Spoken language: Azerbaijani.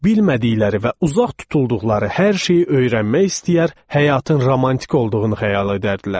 Bilmədikləri və uzaq tutulduqları hər şeyi öyrənmək istəyər, həyatın romantik olduğunu xəyal edərdilər.